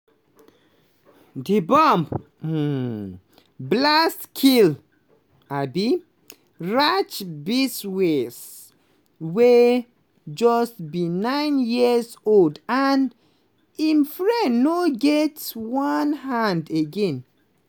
di bomb um blast kill um raj biswas wey just be nine years old and im friend no get one hand again.